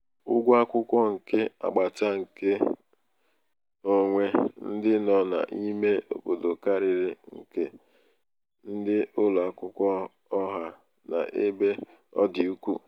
ụgwọ akwụkwọ nke agbata nke agbata n'ụlọ akwụkwọ nke onwe ndị nọ n'ime obodo karịrị um nke ndị ụlọ akwụkwọ ọha um n'ebe ọ dị ukwuu.